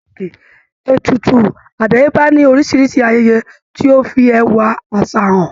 Ètùtù àdáyébá ní oríṣiríṣi ayẹyẹ tó fi ẹwà àṣà hàn.